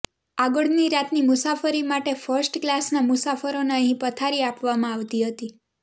આગળની રાતની મુસાફરી માટે ફર્સ્ટ કલાસના મુસાફરોને અહીં પથારી આપવામાં આવતી હતી